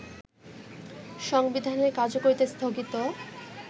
সংবিধানের কার্যকরিতা স্থগিত